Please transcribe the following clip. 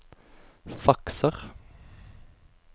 fakser